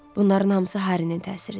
Bunların hamısı Harinin təsiridir.